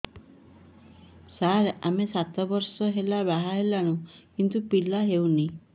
ସାର ଆମେ ସାତ ବର୍ଷ ହେଲା ବାହା ହେଲୁଣି କିନ୍ତୁ ପିଲା ହେଉନାହିଁ